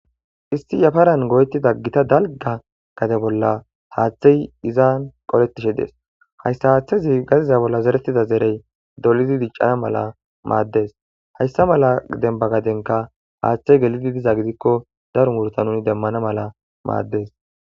isti yafaran goytida gita dalga gade bolla haaththey izan qoletishe dees hayssa haaththezi gadiza bolla zeretida zerey dolidi diccana mala maaddes hayssa mala demba gadenka haaththey gelidi diza gidikko darun wurta nuni demmana mala maaddes